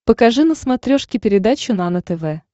покажи на смотрешке передачу нано тв